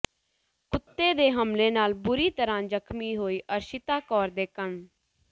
ਕੁੱਤੇ ਦੇ ਹਮਲੇ ਨਾਲ ਬੁਰੀ ਤਰ੍ਹਾਂ ਜ਼ਖ਼ਮੀ ਹੋਈ ਅਰਸ਼ਿਤਾ ਕੌਰ ਦੇ ਕੰ